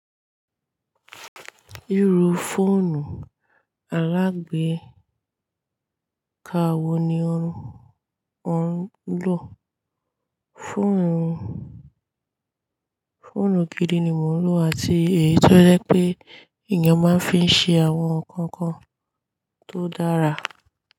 Irú fóònù alágbeeka wo ni ò ń lò? Fóònù gidi ni mò ń lò àti èyí tó jẹ́ pé èèyàn máa ń fi ṣe àwọn nǹkan kan tó dára.